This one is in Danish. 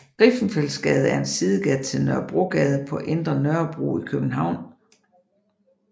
Griffenfeldsgade er en sidegade til Nørrebrogade på Indre Nørrebro i København